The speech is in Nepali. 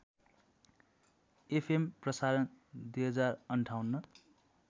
एफएम प्रसारण २०५८